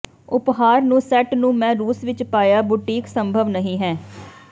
ਉਪਹਾਰ ਨੂੰ ਸੈੱਟ ਨੂੰ ਮੈ ਰੂਸ ਵਿਚ ਪਾਇਆ ਬੁਟੀਕ ਸੰਭਵ ਨਹੀ ਹੈ